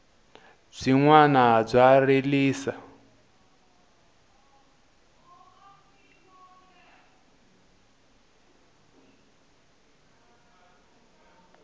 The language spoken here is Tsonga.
byinwani bya rilisa